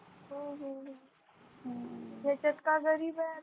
हम्म अह याच्यात काय गरीब हाय